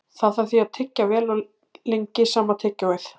Það þarf því að tyggja vel og lengi sama tyggjóið!